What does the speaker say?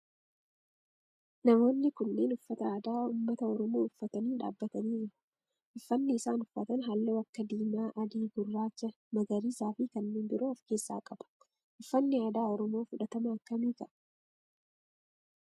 Namoonni kunneen uffata aadaa ummata oromoo uffatanii dhaabbatanii jiru. Uffanni isaan uffatan halluu akka diimaa, adii, gurraacha, magariisa fi kanneen biroo of keessaa qaba. Uffanni aadaa oromoo fudhatama akkamii qaba?